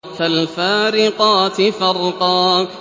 فَالْفَارِقَاتِ فَرْقًا